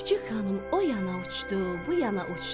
Çik-çik xanım oyana uçdu, buyana uçdu.